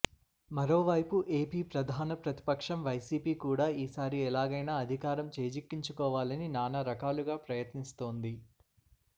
మరోవైపు ఏపీ ప్రధాన ప్రతిపక్షం వైసీపీ కూడా ఈసారి ఎలాగైన అధికారం చేజిక్కించుకోవాలని నానా రకాలుగా ప్రయత్నిస్తోంది